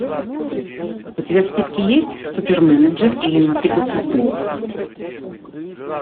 у тебя в списке есть суперменеджер или мотыга судьбы